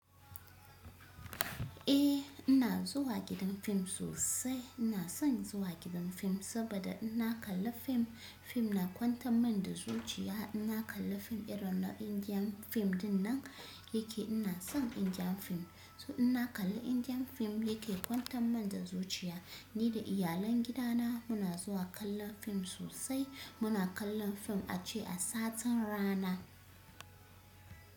Eh ina zuwa gidan fim sosai. Ina san zuwa gidam gim saboda inna kalla film fim na kwanta min da zuciya. Ina kalla fim irin na Indian fim dinnan yake. Ina son Indian fim. To ina kalla Indian fim yake kwanta min da zuciya. Ni da iyalan gidana muna zuwa kallon fim sosai. Muna kallan fim ace a satin rana.